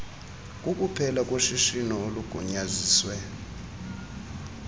kukuphela koshishino olugunyaziswe